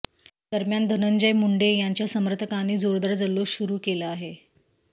दरम्यान धनंजय मुंडे यांच्या समर्थकांनी जोरदार जल्लोष सुरू केला आहे